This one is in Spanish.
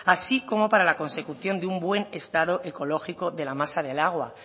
así como para la consecución de un buen estado ecológico de la masa del agua